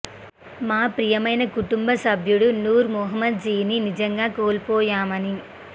మా ప్రియమైన కుటుంబ సభ్యుడు నూర్ మొహమ్మద్ జిని నిజంగా కోల్పోయామని